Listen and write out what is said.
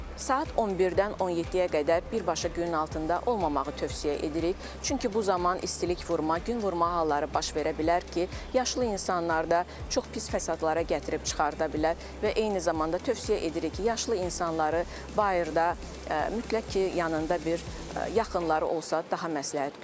Saat 11-dən 17-yə qədər birbaşa günün altında olmamağı tövsiyə edirik, çünki bu zaman istilik vurma, gün vurma halları baş verə bilər ki, yaşlı insanlarda çox pis fəsadlara gətirib çıxarda bilər və eyni zamanda tövsiyə edirik ki, yaşlı insanları bayırda mütləq ki, yanında bir yaxınları olsa daha məsləhət görürük.